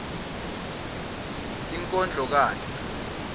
inkondlokati